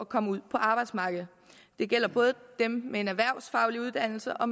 komme ud på arbejdsmarkedet det gælder både dem med en erhvervsfaglig uddannelse og